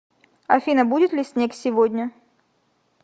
афина будет ли снег сегодня